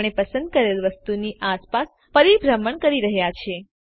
આપણે પસંદ કરેલ વસ્તુની આસપાસ પરિભ્રમણ કરી રહ્યા છે